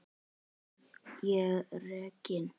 Verð ég rekinn?